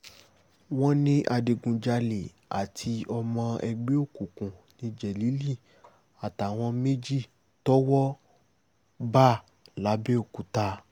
wọ́n ní adigunjalè àti ọmọ ẹgbẹ́ òkùnkùn ní jélílì àtàwọn méjì tọ́wọ́ bá lápbèòkúta